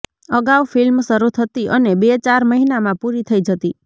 અગાઉ ફિલ્મ શરૂ થતી અને બે ચાર મહિનામાં પૂરી થઈ જતી